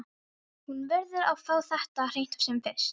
Hún verður að fá þetta á hreint sem fyrst.